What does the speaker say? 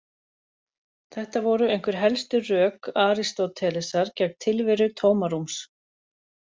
Þetta voru einhver helstu rök Aristótelesar gegn tilveru tómarúms.